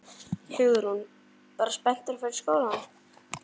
Hugrún: Bara spenntur að fara í skólann?